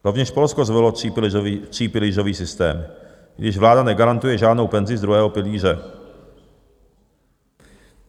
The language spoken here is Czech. Rovněž Polsko zvolilo třípilířový systém, i když vláda negarantuje žádnou penzi z druhého pilíře.